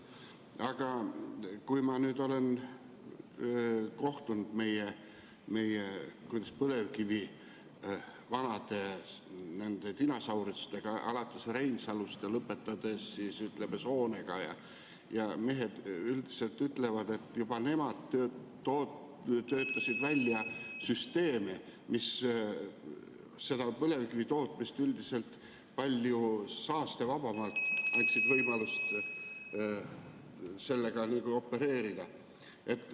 Aga ma olen kohtunud meie põlevkivi vanade dinosaurustega, alates Reinsalust ja lõpetades Soonega, ja mehed ütlevad, et juba nemad töötasid välja süsteemi, mis põlevkivitootmises üldiselt palju saastevabamalt annab võimaluse opereerida.